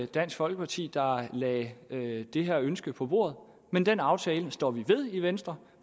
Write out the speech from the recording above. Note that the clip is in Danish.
dansk folkeparti der lagde lagde det her ønske på bordet men den aftale står vi ved i venstre